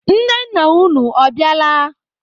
Nne nna unu, ọ bịala?